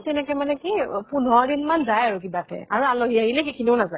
তেনেকে মানে কি অব পোন্ধৰ দিন মান যায় আৰু কিবাকে। আৰু আলহী আহিলে সেইখিনিও নাযায়।